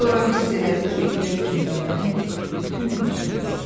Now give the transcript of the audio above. Sonra hiss elədi ki, ürək kimi döyünən bütün vücududur.